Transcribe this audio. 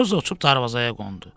Xoruz uçub darvazaya qondu.